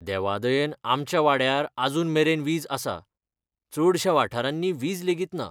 देवा दयेन आमच्या वाड्यार अजूनमेरेन वीज आसा, चडश्या वाठारांनी वीज लेगीत ना.